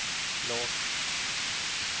låg